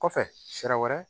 Kɔfɛ sira wɛrɛ